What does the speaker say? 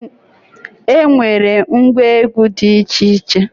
E nwere ngwa egwu dị iche iche